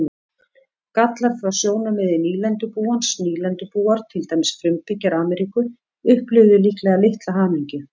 Gallar frá sjónarmiði nýlendubúans Nýlendubúar, til dæmis frumbyggjar Ameríku, upplifðu líklega litla hamingju.